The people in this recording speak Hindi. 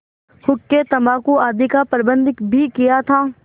हुक्केतम्बाकू आदि का प्रबन्ध भी किया था